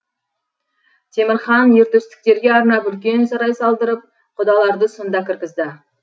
темір хан ер төстіктерге арнап үлкен сарай салдырып құдаларды сонда кіргізді